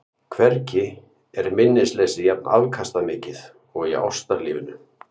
Hvergi er minnisleysið jafn afkastamikið og í ástarlífinu.